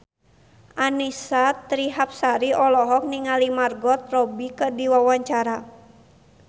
Annisa Trihapsari olohok ningali Margot Robbie keur diwawancara